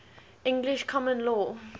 english common law